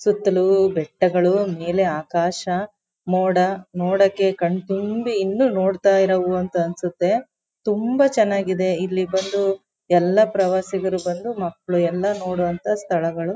ಸುತಲೂ ಬೆಟ್ಟಗಳು ಮೇಲೆ ಆಕಾಶ ಮೋಡ ಮೋಡಕೆ ಕಣ್ಣು ತುಂಬಿ ಇನ್ನು ನೋಡ್ತಇರವು ಅಂತ ಅನ್ಸುತ್ತೆ ತುಂಬಾ ಚನ್ನಾಗಿದೆ ಇಲ್ಲಿ ಬಂದು ಎಲ್ಲ ಪ್ರವಾಸಿಗರು ಬಂದು ಮಕ್ಕಳು ಎಲ್ಲ ನೋಡು ಅಂತ ಸ್ಥಳಗಳು.